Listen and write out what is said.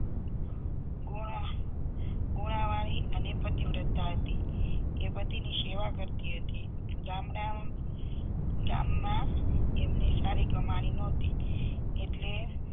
ગુણો ગુણો વાળી અને પતિવ્રતા હતી એ પછીની સેવા કરતી હતી ગામના ગામમાં એમને સારી કમાણી નહતી એટલે